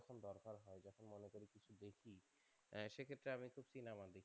সে ক্ষেত্রে আমি একটু সিনেমা দেখি